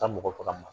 Ka mɔgɔ faga